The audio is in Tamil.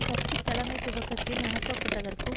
கட்சித்தலைமை துவக்கத்தில் அனுப்பப்பட்டதற்கும்